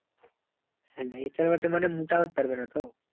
হ্যাঁ না এটা একটা মানে মোটা করতে পারবে না তো